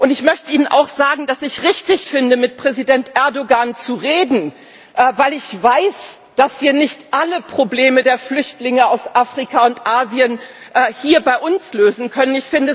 Ich möchte Ihnen auch sagen, dass ich es richtig finde, mit Präsident Erdoğan zu reden, weil ich weiß, dass wir nicht alle Probleme der Flüchtlinge aus Afrika und Asien hier bei uns lösen können.